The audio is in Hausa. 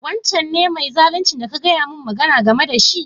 Wancan ne mai zaluncin da kana gaya mu game da shi?